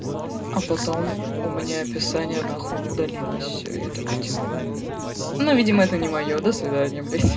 а потом у меня описание нахуй удалилось все и я такой типа ну видимо это не моё до свидания блять